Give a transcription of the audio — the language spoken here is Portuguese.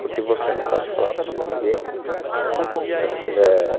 Porque você não pode falar isso para ninguém